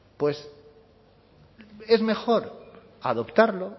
pues es mejor adoptarlo